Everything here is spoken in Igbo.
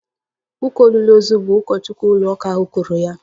Ụka olili ozu bụ ụkọchukwu ụlóụka ahu kwuru ya